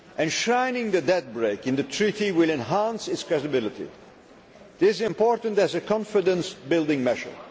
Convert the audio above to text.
Enshrining the debt brake in the treaty will enhance its credibility. This is important as a confidence building measure.